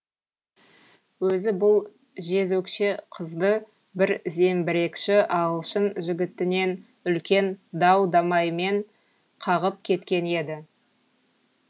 өзі бұл жезөкше қызды бір зеңбірекші ағылшын жігітінен үлкен дау дамаймен қағып кеткен еді